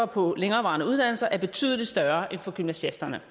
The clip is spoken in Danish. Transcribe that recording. på længerevarende uddannelser er betydelig større end for gymnasiasterne